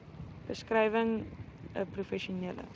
beskrywing n professionele